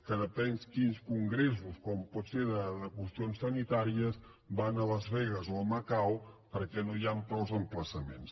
que depèn quins congressos com pot ser de qüestions sanitàries van a las vegas o a macau perquè no hi han prou emplaçaments